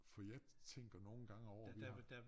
For jeg tænker nogle gange over det her